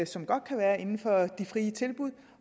som godt kan være inden for de frie tilbud